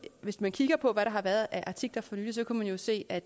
hvis man kigger på hvad der har været af artikler for nylig kan man jo se at